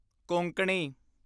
Konkani